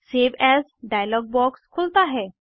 save as dialog box खुलता है